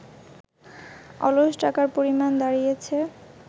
অলস টাকার পরিমাণ দাঁড়িয়েছে